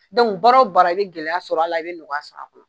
Dɔnku baara o baara i be gɛlɛya sɔrɔ a la i be nɔgɔya sɔrɔ a la